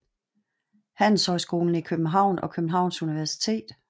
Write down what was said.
Handelshøjskolen i København og Københavns Universitet